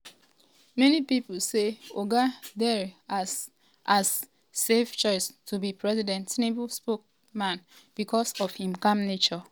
many pipo say oga dare as as safe choice to be president tinubu spokesman um becos of im calm nature.